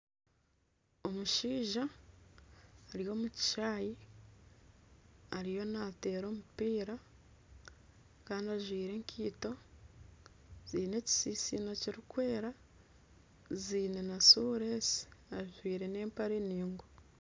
Omushaija ari omu kishaayi, ariyo naateera omupiira kandi ajwire ekaito, ziine ekitsitsino kirikwera ziine na sureesi ajwire n'empare ningwa